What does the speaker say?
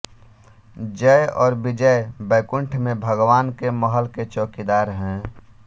जय और विजय बैकुण्ठ में भगवान के महल के चौकीदार है